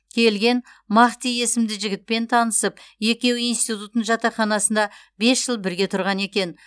келген махти есімді жігітпен танысып екеуі институттың жатақханасында бес жыл бірге тұрған екен